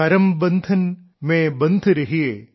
കരം ബംന്ധൻ മേം ബന്ധ് രഹിയേ